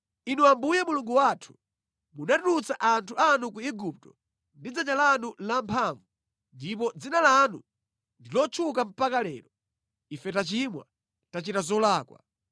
“Inu Ambuye Mulungu wathu, munatulutsa anthu anu ku Igupto ndi dzanja lanu lamphamvu ndipo dzina lanu ndi lotchuka mpaka lero. Ife tachimwa, tachita zolakwa.